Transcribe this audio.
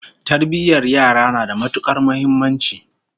Tarbiyyar yara na da matukar muhimmanci